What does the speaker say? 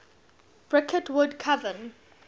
bricket wood coven